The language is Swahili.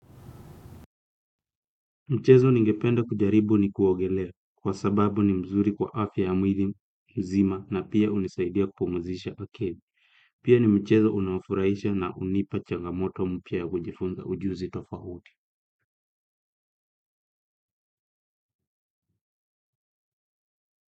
Mchezo ningependa kujaribu ni kuogelea kwa sababu ni mzuri kwa afya ya mwili nzima na pia hunisaidia kupumzisha akili. Pia ni mchezo unaofurahisha na hunipa changamoto mpya ya kujifunza ujuzi tofauti.